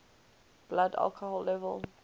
blood alcohol level